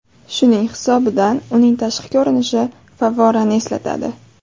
Shuning hisobidan uning tashqi ko‘rinishi favvorani eslatadi.